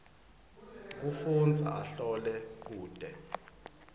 kufundza ahlole kute